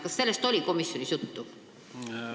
Kas sellest oli komisjonis juttu?